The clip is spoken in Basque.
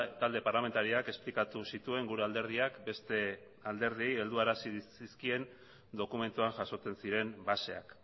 talde parlamentarioak esplikatu zituen gure alderdiak beste alderdiei helduarazi zizkien dokumentuan jasotzen ziren baseak